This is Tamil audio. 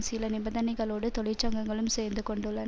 சில நிபந்தனைகளோடு தொழிற்சங்கங்களும் சேர்ந்து கொண்டுள்ள